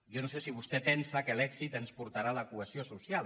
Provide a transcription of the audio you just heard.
jo no sé si vostè pensa que l’èxit ens portarà a la cohesió social